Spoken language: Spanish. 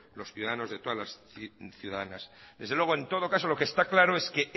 los ciudadanos de todas las ciudadanas desde luego en todo caso lo que está claro es que